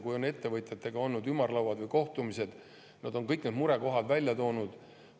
Kui on ettevõtjatega olnud ümarlauad või kohtumised, siis nad on kõik murekohad välja toonud.